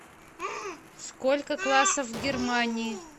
сколько классов в германии